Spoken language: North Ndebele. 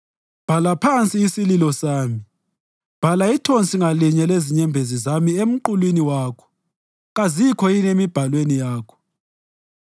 Bhala phansi isililo sami; bhala ithonsi ngalinye lezinyembezi zami emqulwini wakho kazikho yini emibhalweni yakho?